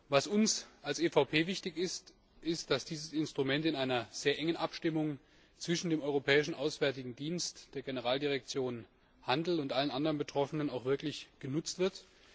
Was uns als PPE wichtig ist, ist, dass dieses Instrument in einer sehr engen Abstimmung zwischen dem Europäischen Auswärtigen Dienst, der Generaldirektion Handel und allen anderen Betroffenen auch wirklich genutzt wird.